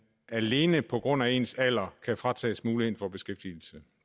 alene på grund af ens alder kan fratages muligheden for beskæftigelse